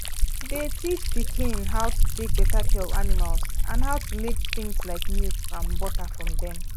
dey teach pikin how to take better care of animals and how to make things like milk and butter from dem